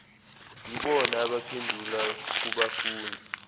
yibona abaphendula kubafundi